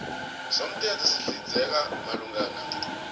somthetho sihlinzeka malungana